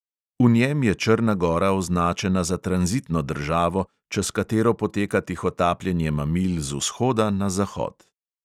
V njem je črna gora označena za tranzitno državo, čez katero poteka tihotapljenje mamil z vzhoda na zahod.